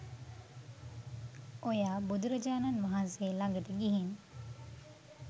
ඔයා බුදුරජාණන් වහන්සේ ලඟට ගිහින්